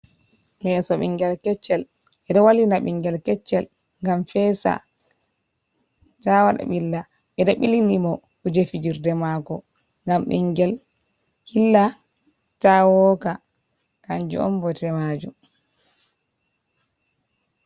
Leso ɓingel keccel, ɓedo wallina ɓingel keccel ngam fesa, ta waɗa ɓilla ɓedo bilini mo kuje fijirde mako ngam ɓingel hilla ta wooka kanjum on bote maajum.